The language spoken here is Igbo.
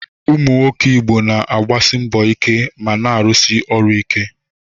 Ụmụ nwoke Igbo na-agbasi mbọ ike ma na-arụsi ọrụ ike.